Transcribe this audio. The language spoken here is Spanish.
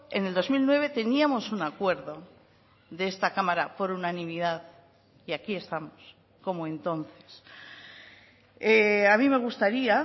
en el dos mil nueve teníamos un acuerdo de esta cámara por unanimidad y aquí estamos como entonces a mí me gustaría